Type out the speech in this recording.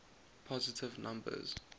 positive numbers